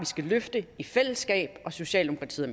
skal løfte i fællesskab og socialdemokratiet